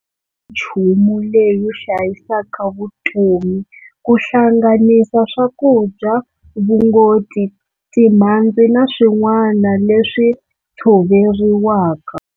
"Minchumu leyi hlayisaka vutomi, kuhlanganisa swakudya, vungoti, timhadzi na swin'wana leswi thsoveriwaka."